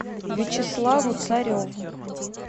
вячеславу цареву